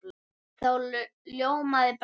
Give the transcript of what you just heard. Þá ljómaði Bragi.